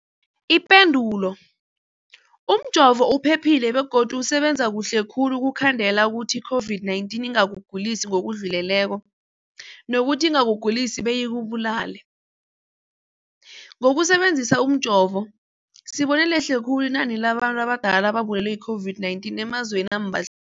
Ipendulo, umjovo uphephile begodu usebenza kuhle khulu ukukhandela ukuthi i-COVID-19 ingakugulisi ngokudluleleko, nokuthi ingakugulisi beyikubulale. Ngokusebe nzisa umjovo, sibone lehle khulu inani labantu abadala ababulewe yi-COVID-19 emazweni amba